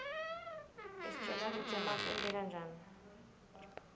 isitjela kutsi emafu enteka njani